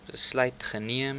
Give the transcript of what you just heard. besluit geneem